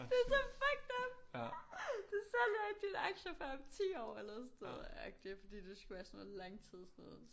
Det så fucked up! Du sælger ikke dine aktier før om 10 år eller sådan noget agtig fordi det skulle være sådan noget langtidsnoget